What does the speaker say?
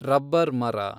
rubber ಮರ